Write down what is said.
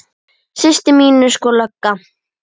Systir mín er sko lögga